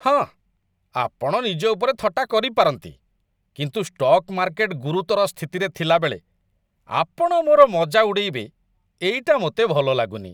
ହଁ, ଆପଣ ନିଜ ଉପରେ ଥଟ୍ଟା କରିପାରନ୍ତି, କିନ୍ତୁ ଷ୍ଟକ୍ ମାର୍କେଟ ଗୁରୁତର ସ୍ଥିତିରେ ଥିଲାବେଳେ ଆପଣ ମୋର ମଜା ଉଡ଼େଇବେ, ଏଇଟା ମୋତେ ଭଲଲାଗୁନି।